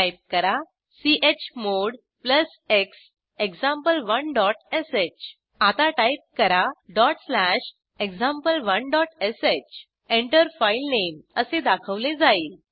type करा chmod plus x example one dot sh आता type करा डॉट स्लॅश example1श Enter फाइलनेम असे दाखवले जाईल